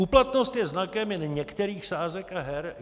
Úplatnost je znakem jen některých sázek a her.